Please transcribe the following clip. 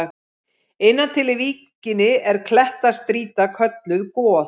Innan til í víkinni er klettastrýta kölluð Goð.